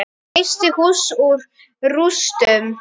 Reisti hús úr rústum.